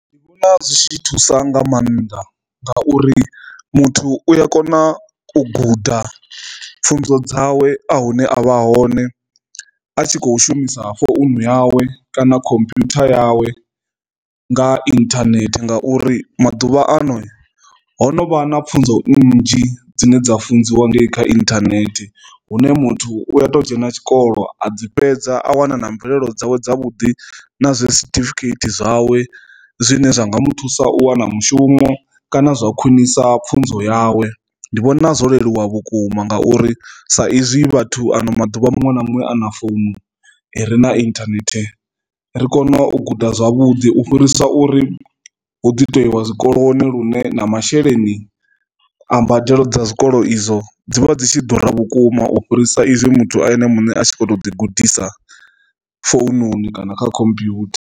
Ndi vhona zwi tshi thusa nga maanḓa nga uri muthu u a kona u guda pfhunzo dzawe a hune avha hone a tshi kho shumisa founu yawe kana khomphutha yawe nga internet ngauri maḓuvha ano ho no vha na pfunzo nnzhi dzine dza funziwa nga i kha internet hune muthu u a to dzhena tshikolo a dzi fhedza a wana na mvelelo dzawe dza vhuḓi na zwe certificate zwawe zwine zwa nga mu thusa u wana mushumo kana zwa khwinisa pfhunzo yawe. Ndi vhona zwo leluwa vhukuma ngauri sa izwi vhathu ano maḓuvha muṅwe na muṅwe ana fomo ri na internet ri kone u guda zwavhuḓi u fhirisa uri hu ḓi to iwa zwikoloni lune na masheleni a mbadelo dza zwikolo izwo dzivha dzi tshi ḓura vhukuma u fhirisa izwi muthu ene muṋe a tshi kho to ḓi gudisa foununi kana kha computer.